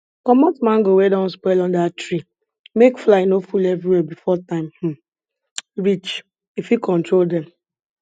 comot mango wey don spoil under tree make fly no full everywhere before time um reach e fit control dem